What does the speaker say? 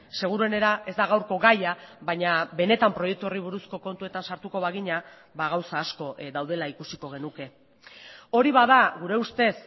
seguruenera ez da gaurko gaia baina benetan proiektu horri buruzko kontuetan sartuko bagina gauza asko daudela ikusiko genuke hori bada gure ustez